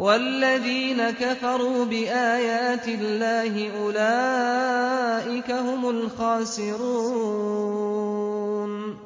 وَالَّذِينَ كَفَرُوا بِآيَاتِ اللَّهِ أُولَٰئِكَ هُمُ الْخَاسِرُونَ